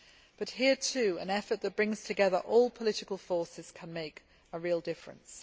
But here, too, an effort that brings together all political forces can make a real difference.